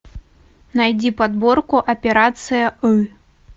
найди подборку операция ы